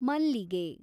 ಮಲ್ಲಿಗೆ